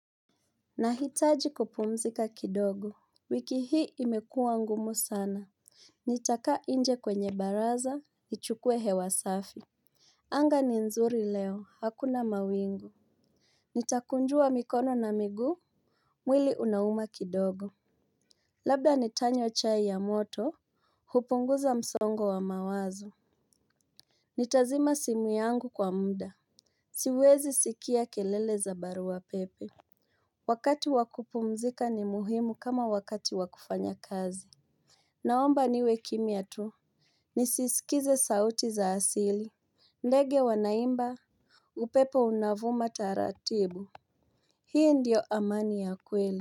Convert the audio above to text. Nahitaji kupumzika kidogo. Wiki hii imekuwa ngumu sana. Nitakaa nje kwenye baraza, nichukue hewasafi. Anga ni nzuri leo, hakuna mawingu. Nitakunjua mikono na miguu. Mwili unauma kidogo. Labda nitanywa chai ya moto. Hupunguza msongo wa mawazo. Nitazima simu yangu kwa muda. Siwezi sikia kelele za barua pepe. Wakati wakupumzika ni muhimu kama wakati wakufanya kazi. Naomba niwe kimya tu nisisikize sauti za asili. Ndege wanaimba. Upepo unavuma taratibu. Hii ndiyo amani ya kweli.